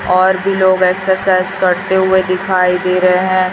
और भी लोग एक्सरसाइज करते हुए दिखाई दे रहे हैं।